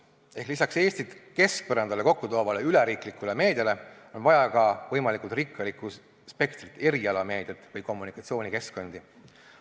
Ehk lisaks Eestit keskpõrandale kokku toovale üleriiklikule meediale on vaja ka võimalikult rikkalikku spektrit erialameediat või kommunikatsioonikeskkondi.